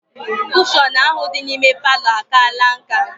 Kushọn ahụ dị n'ime palọ a kaala nká